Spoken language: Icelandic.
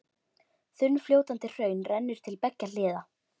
Þunnfljótandi hraun rennur til beggja hliða.